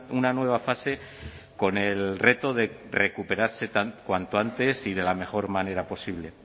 una nueva fase con el reto de recuperarse cuanto antes y de la mejor manera posible